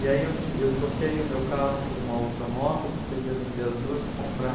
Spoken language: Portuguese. E aí eu ti eu troquei o meu carro por uma outra moto, porque eu ia vender as duas e comprar